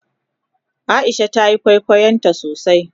Aisha tayi kwaikwayon tasosai.